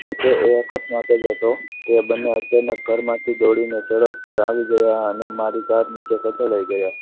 જોકે એ અકસ્માત જ હતો બંને અચાનક ઘરમાંથી દોડીને સડક પર આવી ગયા અને મારી કાર નીચે કચડાઈ ગયા.